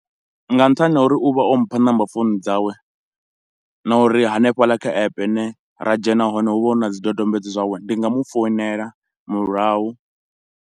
Nga nṱhani ho uri u vha o mpha number founu dzawe na uri hanefhaḽa kha app ra dzhena hone hu vha hu na zwidodombedzwa zwawe, ndi nga mu founela murahu.